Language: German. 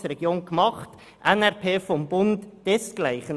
Dasselbe gilt für die NRP des Bundes.